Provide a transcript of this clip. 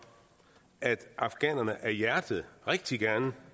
at afghanerne af hjertet rigtig gerne